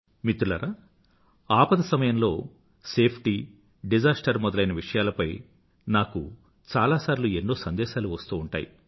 మిత్రులారా ఆపద సమయంలో సేఫ్టీ డిజాస్టర్ మొదలైన విషయాలపై నాకు చాలా సార్లు ఎన్నో సందేశాలు వస్తూ ఉంటాయి